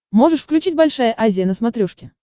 можешь включить большая азия на смотрешке